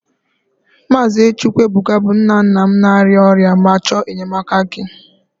Maazị Chukwuebuka bụ nna nna m na-arịa ọrịa ma chọọ enyemaka gị